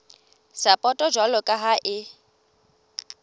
sapoto jwalo ka ha e